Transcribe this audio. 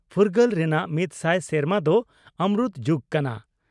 ᱯᱷᱩᱨᱜᱟᱹᱞ ᱨᱮᱱᱟᱜ ᱢᱤᱛ ᱥᱟᱭ ᱥᱮᱨᱢᱟ ᱫᱚ ᱚᱢᱨᱩᱛ ᱡᱩᱜᱽ ᱠᱟᱱᱟ ᱾